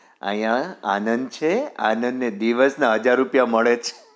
અહિયાં આનંદ છે આનંદ ને દિવસ ના હજાર રૂપિયા મળે છે